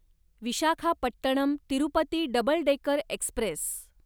Visakhapatnam Tirupati double decker Express